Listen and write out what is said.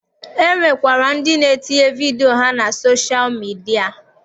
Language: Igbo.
E nwekwara ndị na-etinye vidio ha na soshal midia.